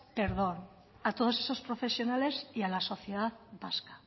perdón a todos esos profesionales y a la sociedad vasca